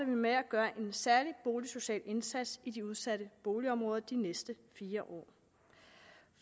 vi med at gøre en særlig boligsocial indsats i de udsatte boligområder de næste fire